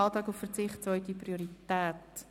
«Antrag auf Verzicht auf zweite Priorität».